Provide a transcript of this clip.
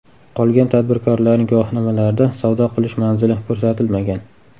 Qolgan tadbirkorlarning guvohnomalarida savdo qilish manzili ko‘rsatilmagan.